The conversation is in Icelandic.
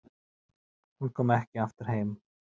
Hún kom ekki aftur heim.